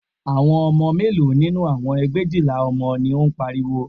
Àwọn ọmọ mélòó nínú àwọn ẹgbẹ̀éjìlá ọmọ ni ó ń pariwo